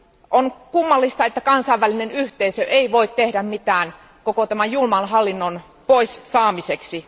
On kummallista, että kansainvälinen yhteisö ei voi tehdä mitään koko tämän julman hallinnon pois saamiseksi.